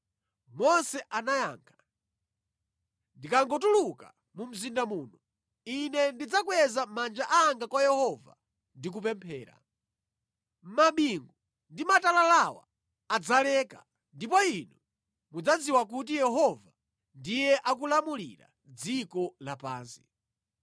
Mose anayankha, “Ndikangotuluka mu mzinda muno, ine ndidzakweza manja anga kwa Yehova ndi kupemphera. Mabingu ndi matalalawa adzaleka ndipo inu mudzadziwa kuti Yehova ndiye akulamulira dziko lapansi.